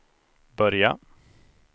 börja